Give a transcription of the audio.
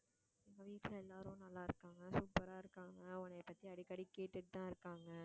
வீட்டுல எல்லாரும் நல்லா இருக்காங்க. super ஆ இருக்காங்க. உன்னை பத்தி அடிக்கடி கேட்டுட்டுதான் இருக்காங்க